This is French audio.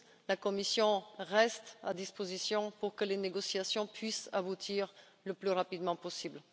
La Commission reste à votre disposition pour que les négociations puissent aboutir le plus rapidement possible.